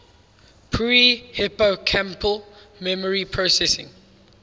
pre hippocampal memory processing